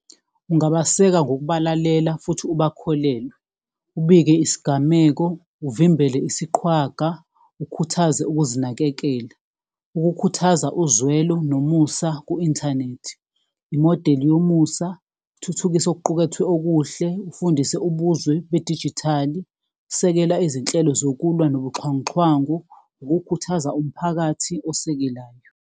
Ungabaseka ngokubalalela futhi ubakholelwe, ubike isigameko, uvimbele isiqhwaga, ukhuthaze ukuzinakekela, ukukhuthaza uzwelo nomusa ku-inthanethi, imodeli yomusa, ukuthuthukisa okuqukethwe okuhle, ufundise ubuzwe bedijithali. Sekela izinhlelo zokulwa nobuxhwanguxhwangu, ukukhuthaza umphakathi osekelayo.